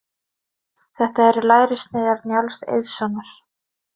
Þetta eru lærissneiðar Njáls Eiðssonar.